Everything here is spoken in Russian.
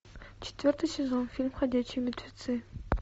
четвертый сезон фильм ходячие мертвецы